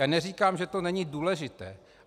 Já neříkám, že to není důležité.